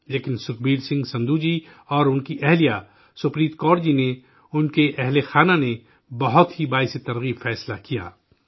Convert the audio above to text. لیکن سکھبیر سنگھ سندھو جی اور ان کی بیوی سپریت کور جی نے، ان کی فیملی نے، بہت ہی مثالی فیصلہ لیا